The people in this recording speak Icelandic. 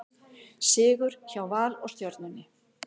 Sigur hjá Val og Stjörnunni